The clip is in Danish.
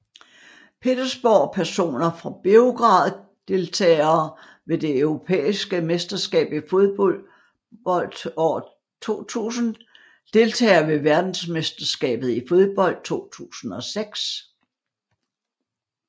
Petersborg Personer fra Beograd Deltagere ved det europæiske mesterskab i fodbold 2000 Deltagere ved verdensmesterskabet i fodbold 2006